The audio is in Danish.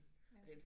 Ja